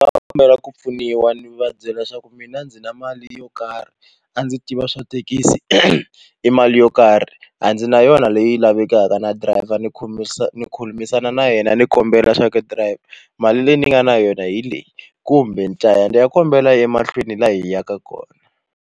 A ndzi kombela ku pfuniwa ni va byela leswaku mina ndzi na mali yo karhi a ndzi tiva swa thekisi i mali yo karhi a ndzi na yona leyi lavekaka na driver ni ni khulumisana na yena ni kombela swaku he dirayivha mali leyi ni nga na yona hi leyi kumbe ni ta ya ni ya kombela emahlweni laha hi yaka kona.